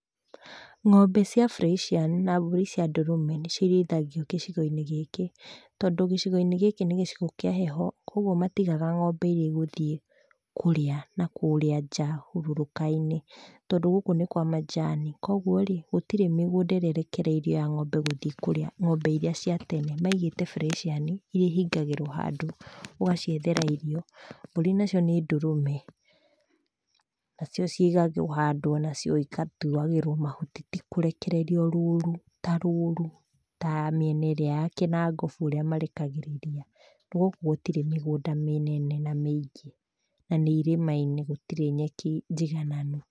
Ng'ombe cia Friesian na mbũri cia ndũrũme nĩcio irĩithagio gĩcigo-inĩ gĩkĩ. Tondũ gĩcigo-inĩ gĩkĩ nĩgĩcigo kĩa heho. Kwogwo matigaga ng'ombe iria igũthiĩ kũrĩa nakũrĩa nja hurũrũka-in, tondũ gũkũ nĩkwa majani. Kuogworĩ, gũtirĩ mĩgũnda ĩrĩa ĩrekereirio gũthiĩ kũrĩa ng'ombe iria cia tene. Maigĩte friesian iria ihingagĩrwo handũ. ũgaciethera irio . Mbũri nacio nĩndũrũme nacio cigagwo handũ igatuagĩrwo mahuti tikũrekererio rũru, tarũru tamĩena ĩrĩa ya Kĩnangobu ĩrĩa marekagĩrĩria . Gũkũ gũtirĩ mĩgũnda mĩnene na mĩingĩ na na nĩirĩma-inĩ, gũtirĩ nyeki njigananu.